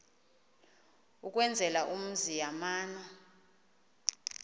ukwenzela umzi yamana